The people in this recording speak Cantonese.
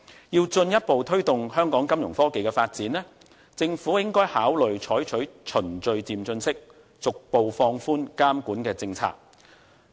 要進一步推動香港金融科技的發展，政府應該考慮採取循序漸進方式，逐步放寬監管的政策。